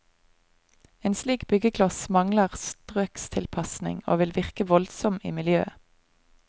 En slik byggekloss mangler strøkstilpasning og vil virke voldsom i miljøet.